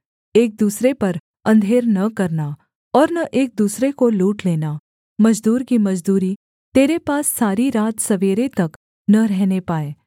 एक दूसरे पर अंधेर न करना और न एक दूसरे को लूट लेना मजदूर की मजदूरी तेरे पास सारी रात सवेरे तक न रहने पाए